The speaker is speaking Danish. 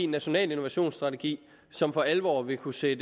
national innovationsstrategi som for alvor vil kunne sætte